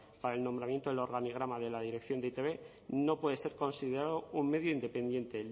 para el nombramiento del organigrama de la dirección de e i te be no puede ser considerado un medio independiente